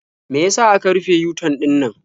Me ya sa aka rufe yu-tan ɗinannan?